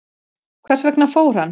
Hvers vegna fór hann?